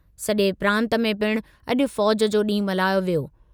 सॼे प्रांत में पिणु अॼु फ़ौज़ जो ॾींहु मल्हायो वियो।